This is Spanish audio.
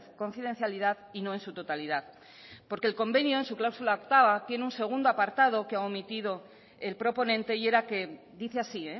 confidencialidad y no en su totalidad porque el convenio en su cláusula octava tiene un segundo apartado que ha omitido el proponente y era que dice así